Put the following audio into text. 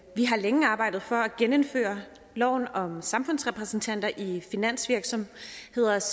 længe har arbejdet for at genindføre loven om samfundsrepræsentanter i finansvirksomheders